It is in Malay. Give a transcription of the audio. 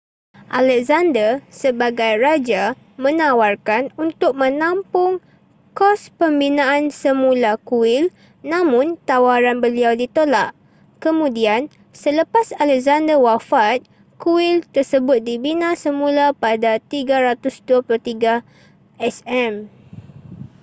alexander sebagai raja menawarkan untuk menampung kos pembinaan semula kuil namun tawaran beliau ditolak kemudian selepas alexander wafat kuil tersebut dibina semula pada 323 sm